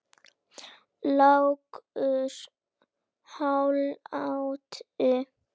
Lágur hlátur.